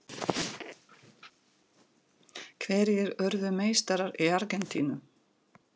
Hverjir urðu meistarar í Argentínu?